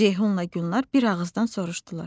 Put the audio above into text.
Ceyhunla Gülnar bir ağızdan soruşdular.